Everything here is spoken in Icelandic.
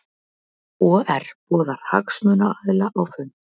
OR boðar hagsmunaaðila á fund